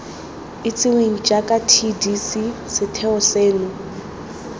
itsiweng jaaka tdc setheo seno